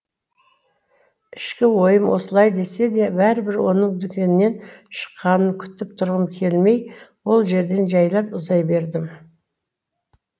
ішкі ойым осылай десе де бәрібір оның дүкеннен шыққанын күтіп тұрғым келмей ол жерден жәйлап ұзай бердім